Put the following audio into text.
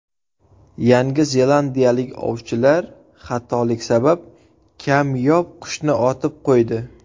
Yangi zelandiyalik ovchilar xatolik sabab kamyob qushni otib qo‘ydi.